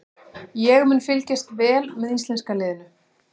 Ég mun fylgjast vel með íslenska liðinu.